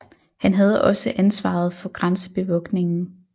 Han havde også ansvaret for grænsebevogtningen